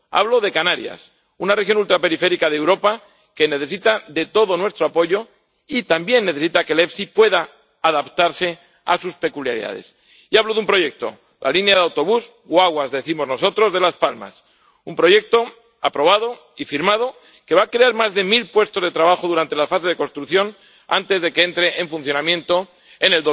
Hablo de Canarias, una región ultraperiférica de Europa que necesita de todo nuestro apoyo y también necesita que el FEIE pueda adaptarse a sus peculiaridades, y hablo de un proyecto la línea de autobús —guaguas decimos nosotros— de Las Palmas, un proyecto aprobado y firmado, que va a crear más de mil puestos de trabajo durante la fase de construcción antes de que entre en funcionamiento en